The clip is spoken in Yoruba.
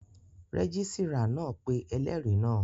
Rẹ́gísírà náà pé ẹlẹ́rìí náà